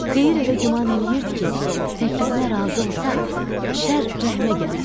Xeyir elə güman eləyirdi ki, təklifinə razı olsa, Şər rəhmə gələr.